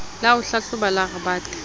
la ho hlahloba la rebate